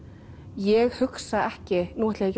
ég hugsa ekki nú ætla ég